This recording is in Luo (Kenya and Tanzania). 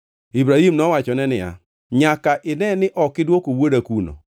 Ibrahim nowachone niya, “Nyaka ine ni ok idwoko wuoda kuno.